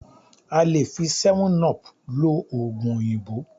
A lè fi '7up' lo òògùn òyìnbó